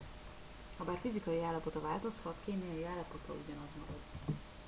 habár fizikai állapota változhat kémiai állapota ugyanaz marad